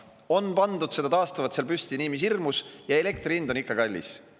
On pandud seda taastuvat seal püsti nii mis hirmus, aga elektri hind on ikka kallis.